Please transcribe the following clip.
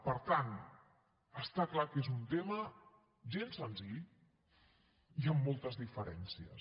per tant està clar que és un tema gens senzill i amb moltes diferències